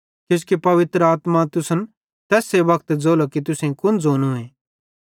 किजोकि पवित्र आत्मा तुसन तैस वक्ते ज़ोलो कि तुसेईं कुन ज़ोनूए